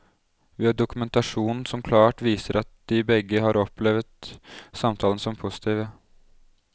Vi har dokumentasjon som klart viser at de begge har opplevet samtalene som positive.